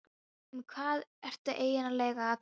Um hvað ertu eigin lega að tala?